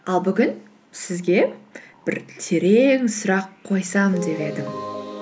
ал бүгін сізге бір терең сұрақ қойсам деп едім